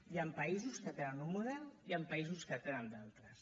hi han països que tenen un model hi han països que en tenen d’altres